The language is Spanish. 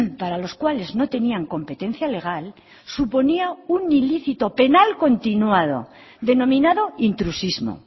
para los cuales no tenían competencia legal suponía un ilícito penal continuado denominado intrusismo